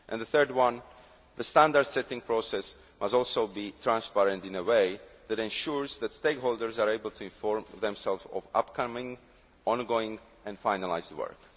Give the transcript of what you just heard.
The third is that the standard setting process must also be transparent in a way that ensures that stakeholders are able to inform themselves of upcoming, ongoing and finalised work.